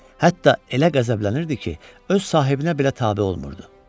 Hətta elə qəzəblənirdi ki, öz sahibinə belə tabe olmurdu.